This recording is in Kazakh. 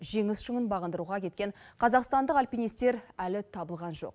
жеңіс шыңын бағындыруға кеткен қазақстандық альпинистер әлі табылған жоқ